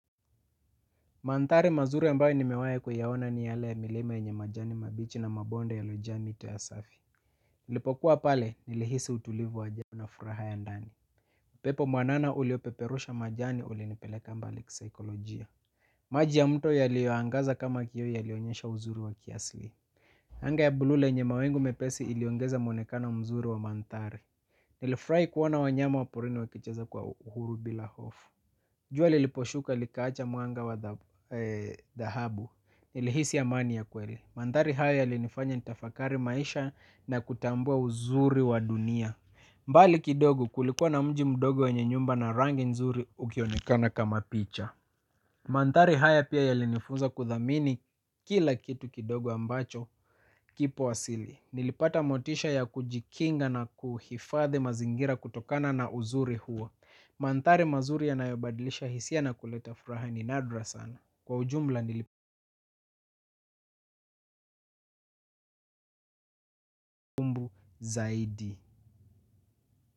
Mandhari mazuri ambayo nimewai kuyaoana ni yale ya milima yenye majani mabichi na mabonde ya lojani ito ya safi nilipokuwa pale nilihisi utulivu wajani na furaha ya ndani upepo mwanana uliopeperusha majani uli nipeleka mbali kisaikolojia. Maji ya mto yaliyoangaza kama kioo yalionyesha uzuri wa kiasili anga ya bluu lenye mawingu mepesi iliongeza muonekano mzuri wa mandhari nilufurahi kuona wa porini wakicheza kwa uhuru bila hofu jua liliposhuka likaacha mwanga wa dhab dahabu. Nilihisi ya amani ya kweli. Mandhari haya yalinifanya nitafakari maisha na kutambua uzuri wa dunia. Mbali kidogo kulikuwa na mji mdogo wenye nyumba na rangi nzuri ukionikana kama picha. Mandhari haya pia yalinifunza kudhamini kila kitu kidogo ambacho kipo asili. Nilipata motisha ya kujikinga na kuhifadhi mazingira kutokana na uzuri huo. Mandhari mazuri yanayabadilisha hisia na kuleta furaha ni nadra sana kwa ujumbla nili zaidi.